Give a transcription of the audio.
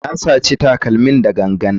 Na saci takalmin da gangan.